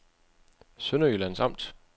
Sønderjyllands Amt